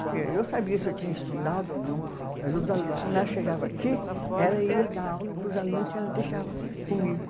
Porque eu sabia se eu tinha estudado ou não, mas quando ela chegava aqui, ela ia dar aula para os alunos que ela deixava comigo.